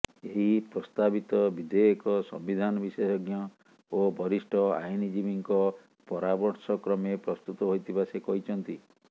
ଏହି ପ୍ରସ୍ତାବିତ ବିଧେୟକ ସମ୍ବିଧାନ ବିଶେଷଜ୍ଞ ଓ ବରିଷ୍ଠ ଆଇନଜୀବୀଙ୍କ ପରାମର୍ଶକ୍ରମେ ପ୍ରସ୍ତୁତ ହୋଇଥିବା ସେ କହିଛନ୍ତି